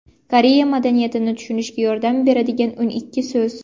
Koreya madaniyatini tushunishga yordam beradigan o‘n ikki so‘z.